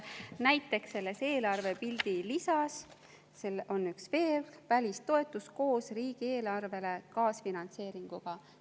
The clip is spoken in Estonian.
Näiteks selles eelarvepildi lisas on üks veerg: välistoetus koos riigieelarvelise kaasfinantseeringuga.